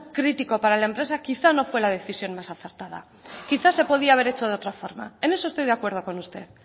crítico para la empresa quizá no fue a decisión más acertada quizás se podría haber hecho de otra forma en eso estoy de acuerdo con usted